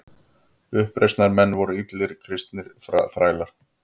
Uppreisnarmenn voru allir kristnir þrælar.